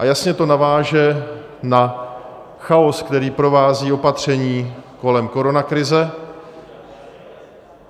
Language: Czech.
A jasně to naváže na chaos, který provází opatření kolem koronakrize.